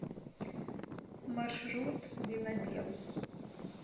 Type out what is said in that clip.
маршрут винодел